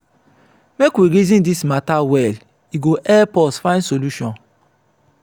make we reason this matter well e go help us find solution.